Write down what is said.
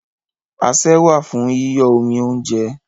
Asẹ́ wà fún yíyọ́ omi óúnjẹ.